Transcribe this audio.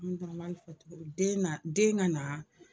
den na den ka na